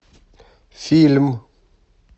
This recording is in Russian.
фильм